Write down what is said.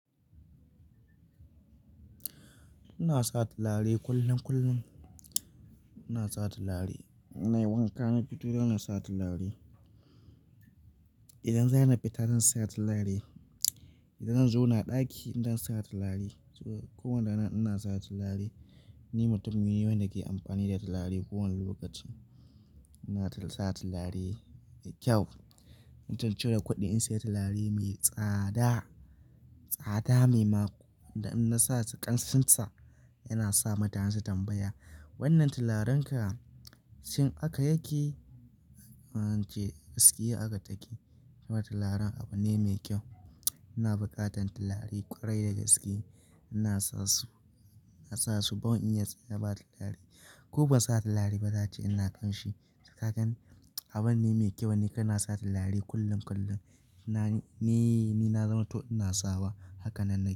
Ina sa tulare kullum kullum. Ina sa tulare, na yi wanka na fito yana sa tulare. Idan zan haife ta zan sa tulare idan zan zo na ɗaki ina sa tulare. Ko wanda rana ina sa tulare Ni mutum ne wanda ke amfani da tallaye kowane lokaci. Ina sa tulare da kyau. Ina cire kuɗi in sayi tulare mai tsada, tsada mai maku. In na sa kanshin sa yana sa mutane su tambaya "wannan tularenka shin aka yake?" ace gaskiya aka take. Tularen abu ne mai kyau. Ina buƙatan tulare ƙwarai da gaske. Ina sa su, ina sa su don in iya sanya ba tulare. Ko ba sa tulare ba zata ce ina ƙanshi. Haka nan, abu ne mai kyau wanniga kana sa tulare kullum kullum. Na, ni, ni na zama to ina sawa. Haka nan nayi.